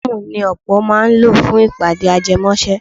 Súùmù ni ọ̀pọ̀ máa ń lò fún ìpàdé ajẹmọ́ṣẹ́.